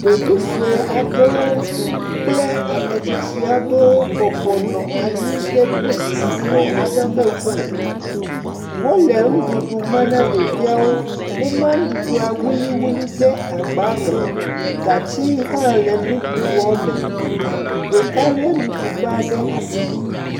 Ɖevi sue aɖewo kple ame tsitsi aɖewo bɔbɔ nɔ anyi ɖe brikisixɔ aɖe ƒe ŋkume. Wole nuɖuɖu ma na ɖeviawo. Woma nuɖuɖua wuliwuli ɖe agbame. Gatsi hã le nuɖuɖua me. Ɖeka lé nuɖuɖugba ɖe asi.